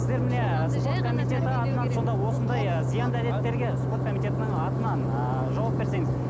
спорт комитетінің атынан ыыы жауап берсеңіз